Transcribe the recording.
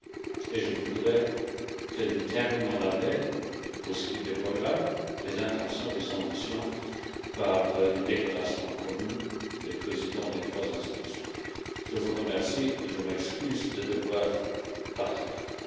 Enfin, je voudrais que nous terminions l'année, pour ce qui est des programmes des intentions et des ambitions, par une déclaration commune des présidents des trois institutions. Je vous remercie et je m'excuse de devoir vous quitter.